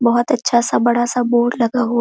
बहोत अच्छा सा बड़ा सा बोर्ड लगा हुआ--